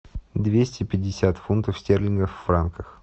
двести пятьдесят фунтов стерлингов в франках